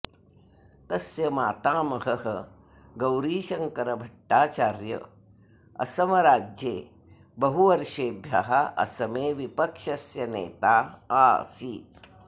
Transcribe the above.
तस्य मातामहः गौरीशङ्करभट्टाचार्य असमराज्ये बहुवर्षेभ्यः असमे विपक्षस्य नेता आसीत्